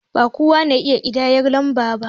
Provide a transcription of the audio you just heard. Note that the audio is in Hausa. Ba kowa ne ya iya ƙidayan lamba ba